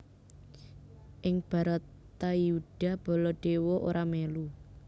Ing Bharatayuddha Baladewa ora mèlu